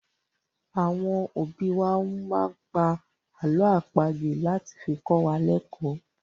Àwọn òbí wá máa ń pá àlọ́ àpagbè láti fi kọ́ wa lẹkò ni.